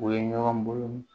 U ye ɲɔgɔn bolo